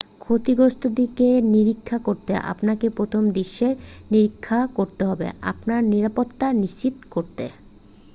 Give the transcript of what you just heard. ক্ষতিগ্রস্থটিকে নিরীক্ষা করতে আপনাকে প্রথমে দৃশ্যের নিরীক্ষা করতে হবে আপনার নিরাপত্তা নিশ্চিত করতে